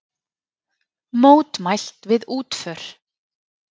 Mótmælt við útför